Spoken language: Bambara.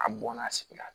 A bɔnna sigi la